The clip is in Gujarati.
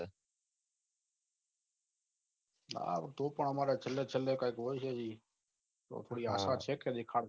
ના તો પન આમાર છેલ્લે છેલ્લે કઈ બોલજે ની તો થોડી આશા છે કોઈ દેખાડશ